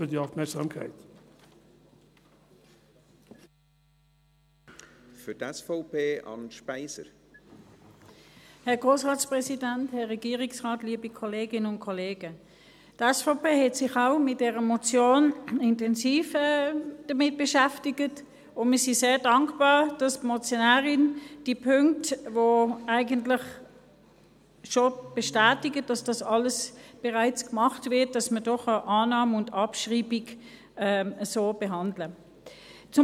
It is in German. Die SVP hat sich mit der Motion auch intensiv beschäftigt, und wir sind sehr dankbar, dass die Motionärin die Punkte, die eigentlich schon bestätigen, dass das alles bereits gemacht wird, dass wir da Annahme und Abschreibung so behandeln können.